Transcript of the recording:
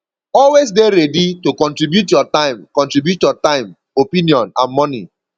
always de ready to contribute your time contribute your time opinion and money